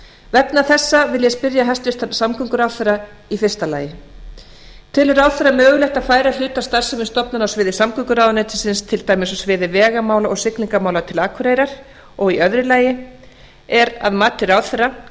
vegna þessa vil ég spyrja hæstvirtan samgönguráðherra fyrsta telur ráðherra mögulegt að færa hluta af starfsemi stofnana á sviði samgönguráðuneytis til dæmis á sviði vegamála og siglingamála til akureyrar annars er að mati ráðherra